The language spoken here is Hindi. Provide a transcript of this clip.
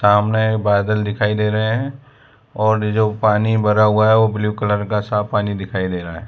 सामने बादल दिखाई दे रहे हैं और जो पानी भरा हुआ है वो ब्लू कलर का साफ पानी दिखाई दे रहा है।